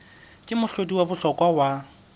ke mohlodi wa bohlokwa wa